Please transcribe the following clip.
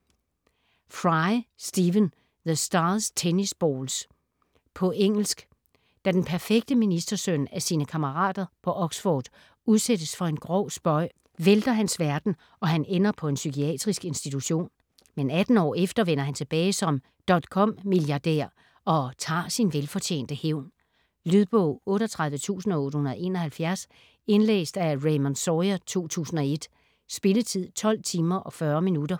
Fry, Stephen: The stars' tennis balls På engelsk. Da den perfekte ministersøn af sine kammerater på Oxford udsættes for en grov spøg, vælter hans verden, og han ender på en psykiatrisk institution. Men 18 år efter vender han tilbage som dotcom milliardær og tager sin velfortjente hævn. Lydbog 38871 Indlæst af Raymond Sawyer, 2001. Spilletid: 12 timer, 40 minutter.